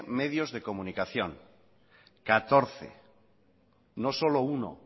medios de comunicación catorce no solo uno